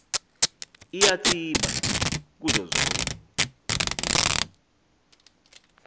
iyatsiba kuzo zonke